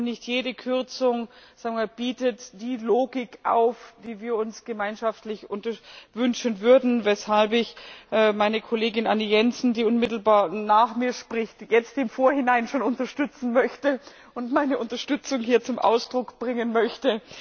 Und nicht jede Kürzung bietet die Logik auf, die wir uns gemeinschaftlich wünschen würden, weshalb ich meine Kollegin Anne Jensen, die unmittelbar nach mir spricht, jetzt im Vorhinein schon unterstützen möchte und meine Unterstützung hier zum Ausdruck bringen möchte.